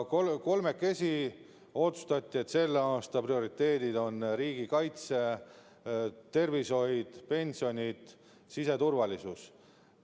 Kolmekesi otsustati, et selle aasta prioriteedid on riigikaitse, tervishoid, pensionid ja siseturvalisus.